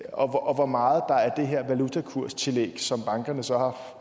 og hvor meget der er det her valutakurstillæg som bankerne så